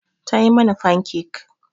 Ta yi mana fankek.